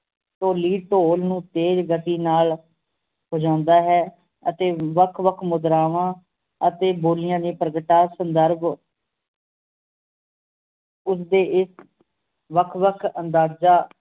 ਢੋਲੀ ਢੋਲ ਨੂੰ ਤੇਜ ਗਤੀ ਨਾਲ ਵਜਾਉਂਦਾ ਹੈ ਤੇ ਵੱਖ ਵੱਖ ਮੁਦਰਾਵਾਂ ਅਤੇ ਬੋਲੀਆਂ ਦੀਆਂ ਪ੍ਰਗਟਾਅ ਸੰਦਰਭ ਉਸਦੇ ਇਕ ਵੱਖ ਵੱਖ ਅੰਦਾਜਾ